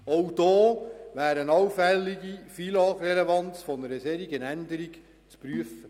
Auch da wäre eine allfällige FILAG-Relevanz einer solchen Änderung zu prüfen.